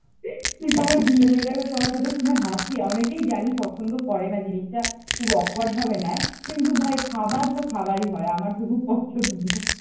তুই তো আমার গিলে মেটে কথাটা শুনে হাসলি অনেকেই জানি পছন্দ করেনা জিনিসটা খুব awkward ভাবে নেয় । কিন্তু ভাই খাবার তো খাবারই হয় আমার তো খুব পছন্দ।